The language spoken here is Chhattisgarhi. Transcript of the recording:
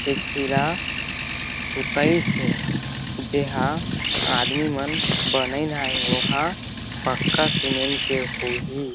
एक छिरा सुतईस हे जेहा आदमी मन बनईन आहि ओहा पक्का सीमेंट के होही--